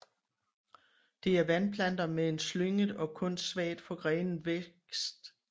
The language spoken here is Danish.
Det er vandplanter med en slynget og kun svagt forgrenet vækst